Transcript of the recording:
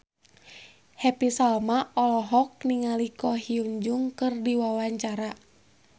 Happy Salma olohok ningali Ko Hyun Jung keur diwawancara